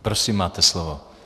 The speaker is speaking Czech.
Prosím, máte slovo.